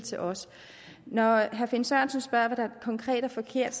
til os når herre finn sørensen spørger hvad der konkret er forkert